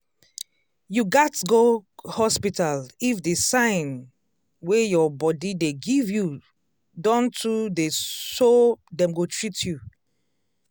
you gats go hospital if the sign wey your body dey give you don too theyso dem go treat you